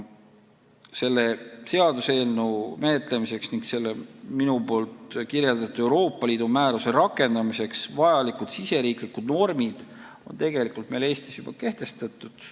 Selle seaduseelnõu menetlemiseks ning asjaomase Euroopa Liidu määruse rakendamiseks vajalikud riigisisesed normid on tegelikult Eestis juba kehtestatud.